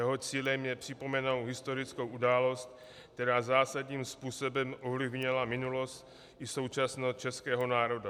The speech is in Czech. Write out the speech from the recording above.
Jeho cílem je připomenout historickou událost, která zásadním způsobem ovlivnila minulost i současnost českého národa.